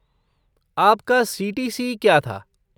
आपका सी.टी.सी. क्या था?